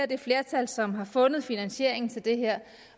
det flertal som har fundet finansieringen til det her